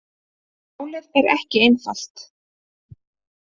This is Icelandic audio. Málið er ekki einfalt.